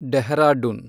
Dehradun